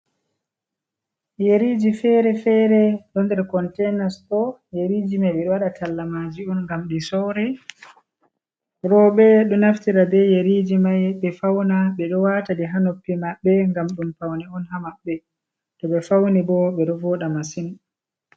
Yeriji fere-fere ɗo nder kontenas ɗo yeriji mai ɓeɗo waɗa tallamaji on ngam ɗi sora roɓe ɗo naftira be yeriji mai ɓe fauna ɓeɗo wata ɗi ha noppi maɓɓe ngam ɗum faune on ha maɓɓe to ɓe fauni bo ɓeɗo voɗa masin.